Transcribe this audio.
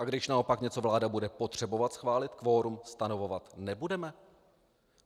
A když naopak něco vláda bude potřebovat schválit, kvorum stanovovat nebudeme?